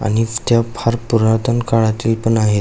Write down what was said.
आणि त्या फार पुरातण काळातील पण आहेत.